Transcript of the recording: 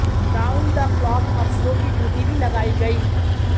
round the clock अफसरों की duty भी लगाई गई